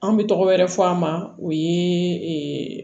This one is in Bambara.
An bɛ tɔgɔ wɛrɛ fɔ a ma o ye